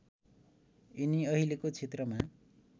यिनी अहिलेको क्षेत्रमा